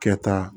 Kɛta